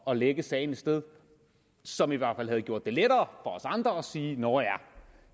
at lægge sagen et sted som i hvert fald havde gjort det lettere os andre at sige nå